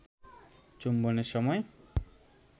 চুম্বনের সময়